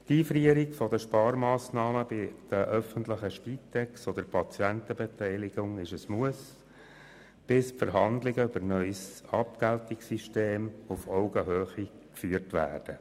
Die Einfrierung der Sparmassnahmen bei der öffentlichen Spitex oder der Patientenbeteiligung ist ein Muss, bis die Verhandlungen über ein neues Abgeltungssystem auf Augenhöhe geführt werden.